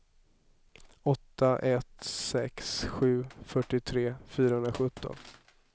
åtta ett sex sju fyrtiotre fyrahundrasjutton